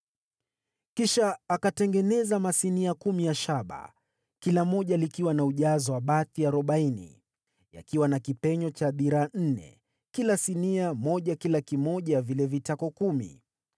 Kisha akatengeneza masinia kumi ya shaba, kila moja likiwa na ujazo wa bathi arobaini, yakiwa na kipenyo cha dhiraa nne kila sinia moja kwa kila kimoja ya vile vitako kumi.